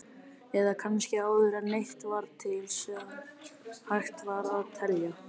Eða kannski áður en neitt var til sem hægt var að telja?